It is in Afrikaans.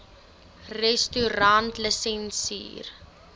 restaurantlisensier